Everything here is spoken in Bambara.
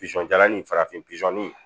Pizɔn jalanin farafin pizɔn